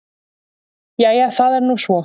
Jæja það er nú svo.